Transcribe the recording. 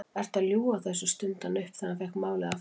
Ertu að ljúga þessu? stundi hann upp þegar hann fékk málið aftur.